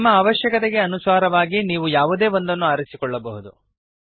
ನಿಮ್ಮ ಅವಶ್ಯಕತೆಗೆ ಅನುಸಾರವಾಗಿ ನೀವು ಯಾವುದೇ ಒಂದನ್ನು ಆರಿಸಿಕೊಳ್ಳಬಹುದು